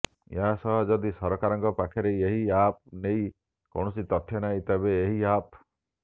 ଏହାସହ ଯଦି ସରକାରଙ୍କ ପାଖରେ ଏହି ଆପ୍ ନେଇ କୌଣସି ତଥ୍ୟ ନାହିଁ ତେବେ ଏହି ଆପ୍